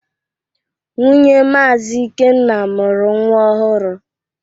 Nwunye Maazi Ikenna mụrụ nwa ọhụrụ.